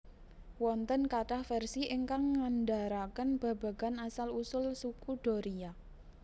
Wonten kathah versi ingkang ngandharaken babagan asal usul Suku Doria